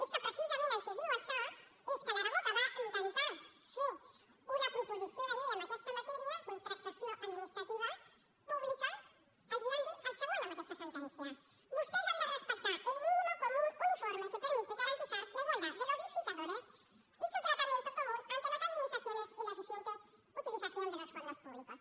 és que precisament el que diu això és que l’aragó que va intentar fer una proposició de llei amb aquesta matèria contractació administrativa pública els van dir el següent amb aquesta sentència vostès han de respectar el mínimo común uniforme que permite garantizar la igualdad de los licitadores y su tratamiento común ante las administraciones y la eficiente utilización de los fondos públicos